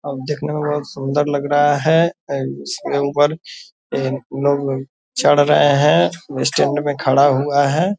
और देखने में बहुत सुन्दर लग रहा है इसके ऊपर लोग चढ़ रहे हैं स्टैंड में खड़ा हुआ है ।